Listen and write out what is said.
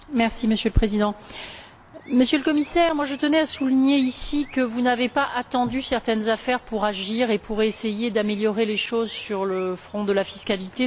Monsieur le Président, Monsieur le Commissaire, je tenais à souligner, ici, que vous n'avez pas attendu certaines affaires pour agir et pour essayer d'améliorer les choses sur le front de la fiscalité.